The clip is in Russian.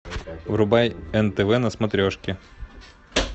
врубай нтв на смотрешке